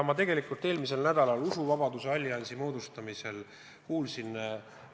Eelmisel nädalal usuvabaduse alliansi moodustamisel ma kuulsin väga halbu numbreid.